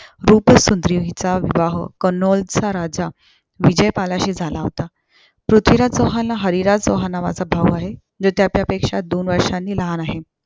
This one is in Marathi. चा विवाह कन्नोलचा राजा विजयपालाशी झाला होता. पृथ्वीराज चौहानांला हरिराज चौहान नावाचा भाऊ आहे. जो त्याच्यापेक्षा दोन वर्षाने लहान आहे.